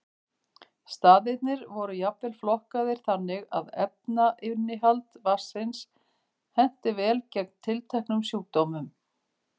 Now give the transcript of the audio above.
Staðirnir eru jafnvel flokkaðir þannig að efnainnihald vatnsins henti vel gegn tilteknum sjúkdómum.